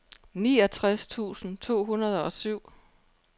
niogtres tusind to hundrede og syv